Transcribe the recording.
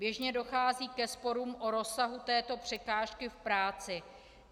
Běžně dochází ke sporům o rozsahu této překážky v práci.